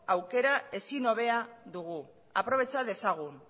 aukera ezin hobea dugu aprobetxa dezagun